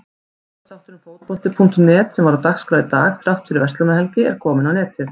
Útvarpsþátturinn Fótbolti.net sem var á dagskrá í dag þrátt fyrir Verslunarmannahelgi er kominn á netið.